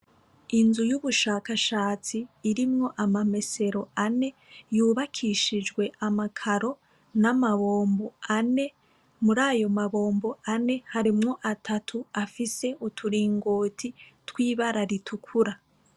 Inzu y'ubushakashatsi irimwo amamesero ane yubakishijwe amakaro n'amabombo ane murayo ma bombo ane harimwo atatu afise uturingoti tw'ibara ritukura.